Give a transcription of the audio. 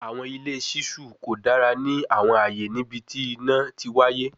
Awọn ile ṣiṣu ko dara ni awọn aaye nibiti ina ti waye